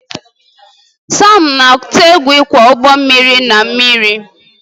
Sam na-atụ egwu ịkwọ ụgbọ mmiri na mmiri